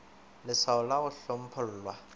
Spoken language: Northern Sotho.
le lswao la go hlomphollwa